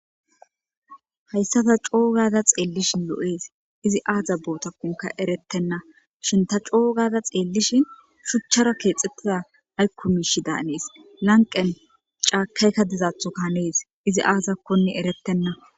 hayssa ta coogada xeellishin lo7ees izi aaza bootakunka erettenna shin ta coogada xeellishin shuchchara keexettida aykku miishi daanees lanqen caakayka dizaatho kahanees izi aazakkonne erettenna